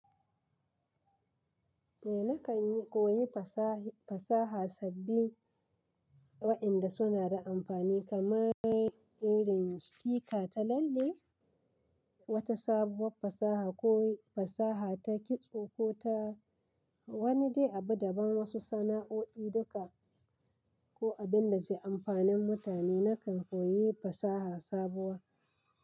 Eh, na kan koyi fasaha, fasaha sabbi wa''yanda suna da amfani kamar irin sticker ta lalle, wata sabuwar fasaha ko fasaha ta kitso, ko ta wani dai abu daban wasu sana'o'i duka, ko abin da zai yi amfanin mutane, na kan koyi fasaha sabuwa.